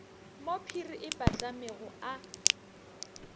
mo phiri e patlamego a